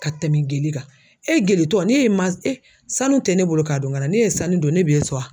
Ka tɛmɛn geli kan e geli tɔ n'e ye ma e sanu tɛ ne bolo k'a don n kan na n'e ye sanu don ne b'e sɔn wa?